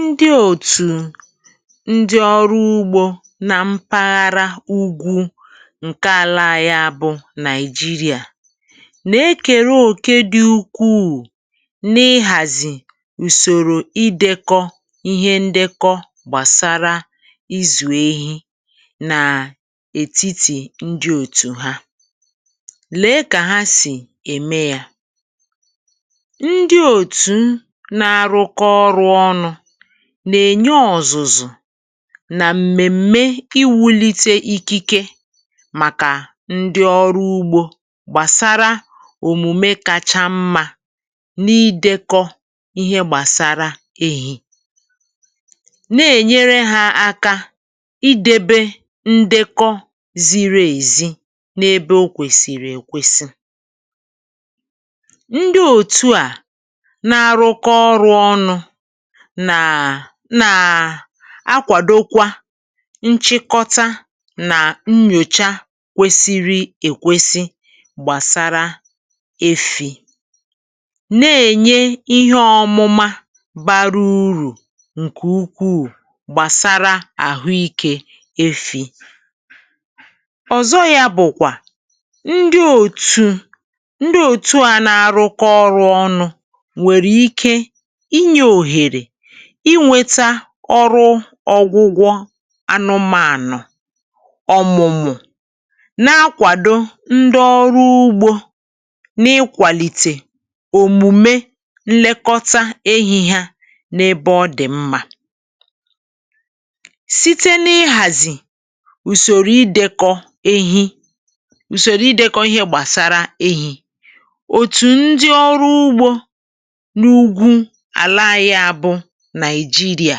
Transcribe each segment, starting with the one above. Ndị òtù ndị ọrụ ugbȯ na mpaghara Úgwù ǹkè ala anyi a bụ Naịjiria, nà-ekèrụ òke dị ukwuu nà-ịhàzì ùsòrò idekọ ihe ndekọ gbàsara izù ehi nà ètiti ndị òtù ha. Lèe kà ha sì ème yȧ, ndi otú na aruko ọrụ ọnụ, nà-ènye ọ̀zụ̀zụ̀ nà m̀mèm̀me iwulite ikike màkà ndi ọrụ ugbȯ gbàsara òmùme kacha mmȧ n’idėkọ ihe gbàsara èhì, na-ènyere hȧ aka idėbė ndekọ ziri èzi n’ebe o kwèsìrì èkwesi. Ndi otú a, na arụko ọrụ ọnụ nàà nàà akwàdokwa nchịkọta nà nnyòcha kwesiri èkwesi gbàsara efì, na-ènye ihe ọmụma bara urù ǹkè ukwuu gbàsara àhụike efì. Ọ̀zọ yȧ bụ̀kwà, ndị òtù ndị òtù a nà-arụkọ ọrụ ọnụ, nwere ike inye onyere ịnwėta ọrụ ọgwụgwọ anụmȧànu. Ọ̀mụ̀mụ na-akwàdo ndị ọrụ ugbȯ n’ịkwàlìtè òmùme nlekọta ehi ha n’ebe ọ dị̀ mma, site n’ịhàzị̀ ùsòrò idėkọ ehi ùsòrò idekọ ihe gbàsara ehi òtù ndị ọrụ ugbȯ n' úgwù ala anyị a bu Naịjiria,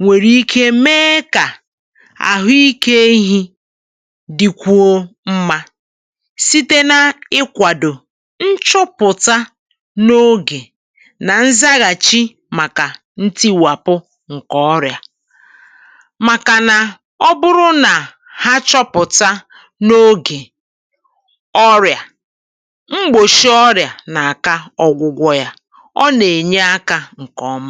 nwèrè ike mee kà àhụikė ehi dị kwuo mma, site n’ịkwàdò nchọpụ̀ta n’ogè nà nzaghàchi màkà ntiwàpụ ǹkè ọrị̀à. Màkànà ọ bụrụ nà ha chọ̀pụ̀ta n’ogè ọrị̀à, mgbòchi ọrị̀à n’àka ọ̀gwụ̀gwọ̀ ya, ò nà-ènye aka ǹkè ọma.